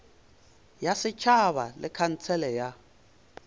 ya setšhaba le khansele ya